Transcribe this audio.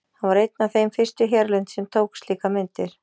Hann var einn af þeim fyrstu hérlendis sem tók slíkar myndir.